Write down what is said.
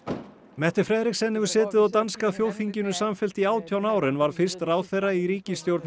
Frederiksen hefur setið á danska þjóðþinginu samfellt í átján ár en varð fyrst ráðherra í ríkisstjórn